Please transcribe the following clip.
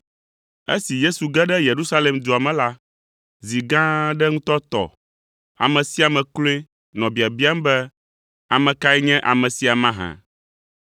Esi Yesu ge ɖe Yerusalem dua me la, zi gã aɖe ŋutɔ tɔ; ame sia ame kloe nɔ biabiam be, “Ame kae nye ame sia mahã?”